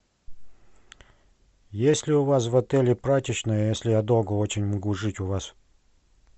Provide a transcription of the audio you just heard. есть ли у вас в отеле прачечная если я долго очень могу жить у вас